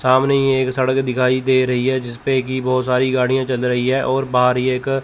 सामने ही एक सड़क दिखाई दे रही है जिसपे की बहुत सारी गाड़ियां चल रही है और बाहरी एक --